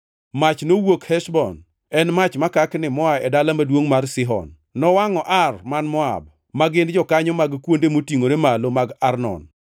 “Mach nowuok Heshbon, en mach makakni moa e dala maduongʼ mar Sihon. Nowangʼo Ar man Moab, ma gin jokanyo mag kuonde motingʼore malo mag Arnon.